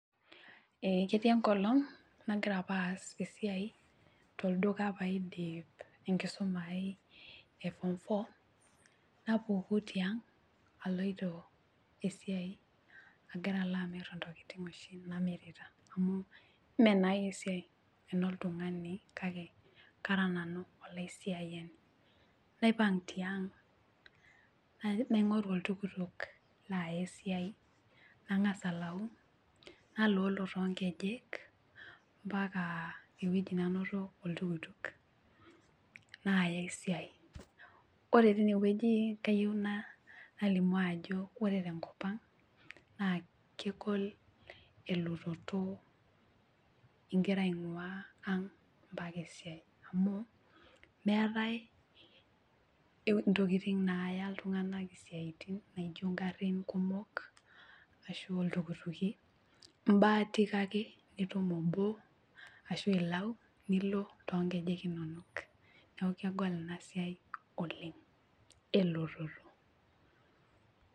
Ee ketii enkolong nagira aas esiai tolduka paidip enkisuma ai eform four napuku tiang aloito esiai agira alo amir ntokitin oshi namirita amu meenai esiai kake kara nanu olaisiayiani, naipang tiang naingoru oltuktuk naya esiai ,nangas alayu naloolo toonkejek mpaka ewueji nanoto oltuktuk naya esiai, ore tinewueji nalimu ajo ore tenkopang naa kegol elototo ingira aingwaa ang mpaka esiai amu meetae ntokitin naya iltunganak isiatin naijo ngarin kumok ashu iltukituki imbaatika ake nitum obo ashu ilau nilo toonkejek inonok neeku kegol inasiai oleng elototo.